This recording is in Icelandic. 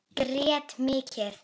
Grét mikið.